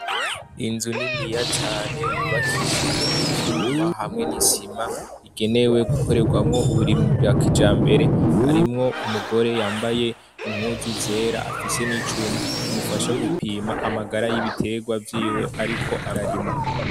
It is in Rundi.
Inzu niniya cane yubakishijwe n'ivyuma hamwe n'isima, igenewe gukorerwamwo uburimwi bwa kijambere, harimwo umugore yambaye impuzu zera afise n'icuma kimufasha gupima amagara y'ibiterwa vyiwe ariko ararima.